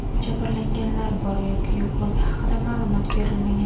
Jabrlanganlar bor yoki yo‘qligi haqida ma’lumot berilmagan.